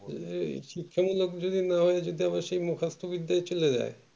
এর শিক্ষা মুল্লক যদি না হয়ে যদি সেই মুখস্ত বিদ্যাই চলে যায়